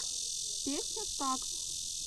песня стакс